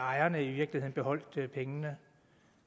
ejerne i virkeligheden beholdt pengene